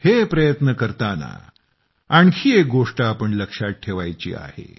हे प्रयत्न करताना आणखी एक गोष्ट आपण लक्षात ठेवायची आहे